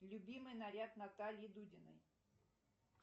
любимый наряд натальи дудиной